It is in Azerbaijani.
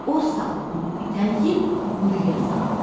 O saat onu itələyib quyuya saldı.